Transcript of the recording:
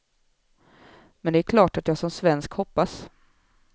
Men det är klart att jag som svensk hoppas.